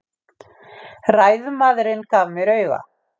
Ræðumaðurinn gaf mér auga.